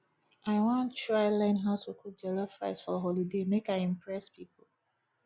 i wan try learn how to cook jollof rice for holiday make i impress pipo